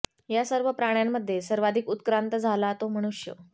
या सर्व प्राण्यांमध्ये सर्वाधिक उत्क्रांत झाला तो मनुष्य